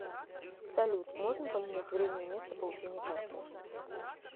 салют можно поменять время и место получения карты